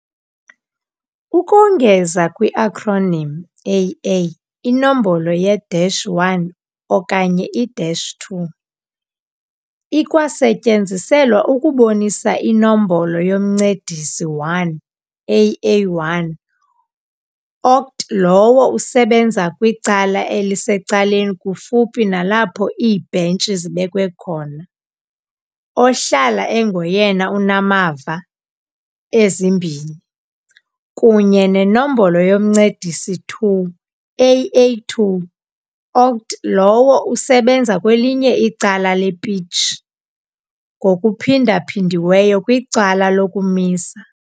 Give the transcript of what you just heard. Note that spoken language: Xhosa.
Ukongeza kwi-acronym "AA", inombolo ye -1 okanye i-2 ikwasetyenziselwa ukubonisa iNombolo yoMncedisi 1 "AA1", okt lowo usebenza kwicala elisecaleni kufuphi nalapho iibhentshi zibekwe khona, ohlala engoyena unamava ezimbini, kunye nenombolo yoMncedisi 2 "AA2", okt lowo usebenza kwelinye icala le-pitch, ngokuphindaphindiweyo kwicala lokumisa.